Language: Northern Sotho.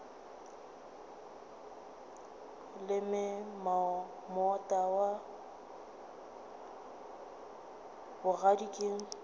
leme moota wa bogadi ka